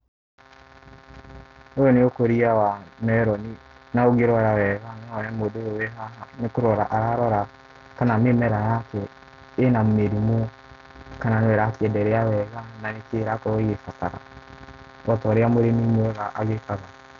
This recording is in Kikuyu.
Ũyũ nĩ ũkũria wa meroni, na ũngĩrora wega no wone mũndũ ũyũ wĩ haha nĩ kũrora ararora kana mĩmera yake ĩna mĩrimũ kana no ĩrakĩenderea wega kana nĩ kĩ ĩrakorwo ĩgĩrabatara o ta ũrĩa mũrĩmi mwega agĩkaga.